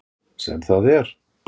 Sem það er!